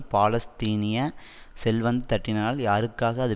பாலஸ்தீனிய செல்வந்த தட்டினரில் யாருக்காக அது